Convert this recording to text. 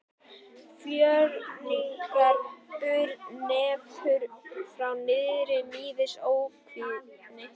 Fjörgynjar bur neppur frá naðri níðs ókvíðinn.